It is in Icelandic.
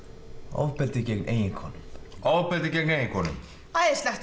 ofbeldi gegn eiginkonum ofbeldi gegn eiginkonum æðislegt